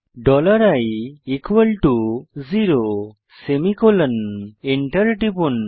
dollar i zero semicolon enter টিপুন